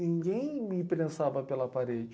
Ninguém me prensava pela parede.